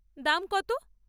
দাম কত?